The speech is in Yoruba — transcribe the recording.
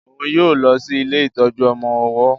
òún yóò lọ si ilé ìtọjú ọmọ ọwó.